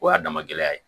O y'a dama gɛlɛya ye